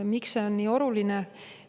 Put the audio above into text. Miks see on nii oluline?